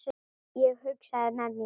Ég hugsaði með mér